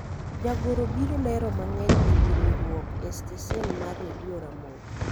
jagoro biro lero mang'eny ewi riwruok e stesen mar redio ramogi